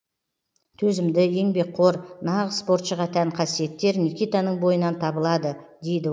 төзімді еңбекқор нағыз спортшыға тән қасиеттер никитаның бойынан табылады дейді